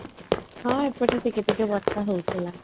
ହଁ ଏପଟେ ଟିକେ ଟିକେ ବର୍ଷ ହଉଥିଲା